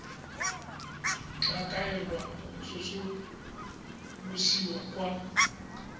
tla kaelwa go tsosolosiwa kwa